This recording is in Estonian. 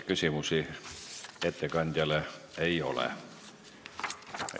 Küsimusi ettekandjale ei ole.